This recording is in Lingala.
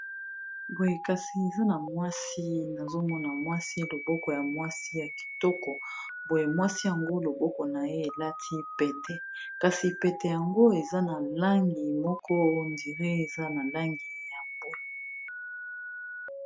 Boye kasi eza na mwasi nazomona mwasi loboko ya mwasi ya kitoko, boye mwasi yango loboko na ye elati pete kasi pete yango eza na langi moko ondire eza na langi ya mbwe.